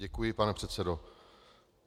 Děkuji, pane předsedo.